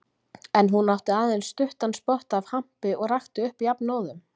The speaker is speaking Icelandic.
En hún átti aðeins stuttan spotta af hampi og rakti upp jafnóðum.